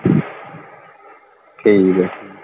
ਠੀਕ ਹੈ।